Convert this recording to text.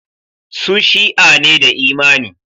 Su Shi'a ne da imani.